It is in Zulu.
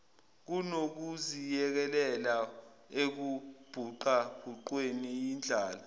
kunokuziyekelela ekubhuqabhuqweni yindlala